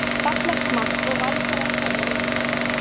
Fallegt mark og Valsarar komnir yfir.